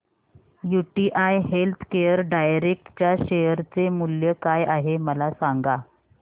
UTI healthcare direct च्या share चे मूल्य काय आहे मला सांगा